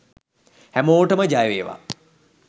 හැමෝටම ජය වේවා